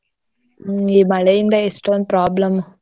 ಈ ಮಳೆಯಿಂದ ಎಷ್ಟೋಂದ್ problem ಉ.